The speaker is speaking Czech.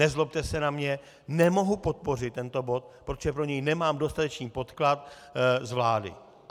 Nezlobte se na mě, nemohu podpořit tento bod, protože pro něj nemám dostatečný podklad z vlády.